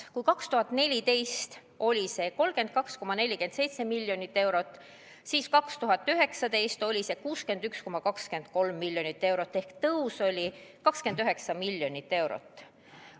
Kui 2014. aastal oli see 32,47 miljonit eurot, siis 2019. aastal oli see 61,23 miljonit eurot ehk tõus oli 29 miljonit eurot.